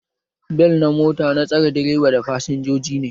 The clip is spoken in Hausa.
Bel na kujera na tsare direba da fasinjoji